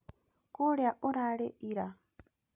Kũũrĩa urarĩ ira